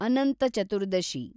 Ananth Chaturdashi